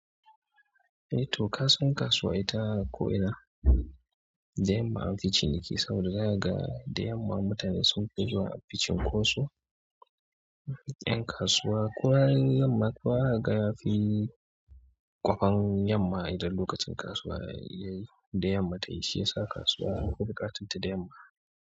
Eh to kasan kasuwa ita ko ina da yamma an fi ciniki saboda daga da yamma mutane sun fi zuwa a cin ko su ƴan kasuwa. Kowa yayi yamma kowa za ga yafi kwafan yamma idan lokacin kasuwa ya yi da yamma ta yi, shi ya sa kasuwa anfi buƙatan ta da yamma.